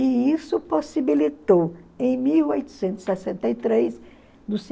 E isso possibilitou, em mil oitocentos e sessenta e três